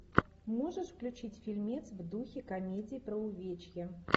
можешь включить фильмец в духе комедии про увечья